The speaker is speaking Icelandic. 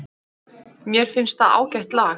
Mér finnst það ágætt lag.